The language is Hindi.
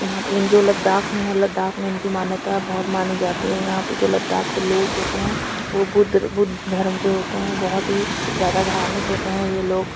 यह इन जो लदाख में लदाख में इनकी मान्यता बहोत ही मानी जाती है यहाँं पे जो लदाख के लोग जो होते है वो बुर्द बुध धर्म के होते है बहोत ही जादा धार्मिक होते है ये लोग।